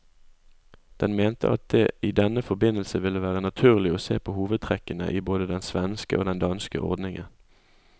Den mente at det i denne forbindelse ville være naturlig å se på hovedtrekkene i både den svenske og den danske ordningen.